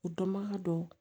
U dɔnbaga dɔ